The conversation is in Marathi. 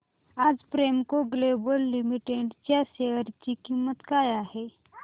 आज प्रेमको ग्लोबल लिमिटेड च्या शेअर ची किंमत काय आहे